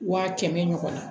Wa kɛmɛ ɲɔgɔn na